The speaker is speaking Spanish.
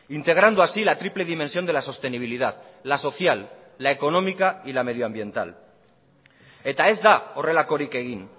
integrando así la triple dimensión de la sostenibilidad la social la económica y la medioambiental eta ez da horrelakorik egin